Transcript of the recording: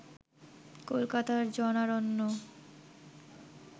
কলকাতার জনারণ্য